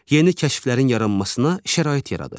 Yeni kəşflərin yaranmasına şərait yaradır.